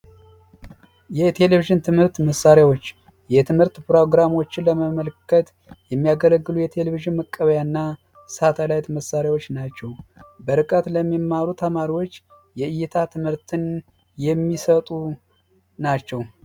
የቴሌቪዥን ትምህርት መሣሪያዎች የትምህርት ፕሮግራሞችን ለመመልከት የሚያገለግሉ የቴሌቪዥን መቀበያና ሳተላይት መሳሪያዎች ናቸው በርቀት ለሚማሩ ተማሪዎች የእይታ ትምህርት የሚሰጡ ናቸው